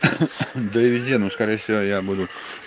довези ну скорее всего я буду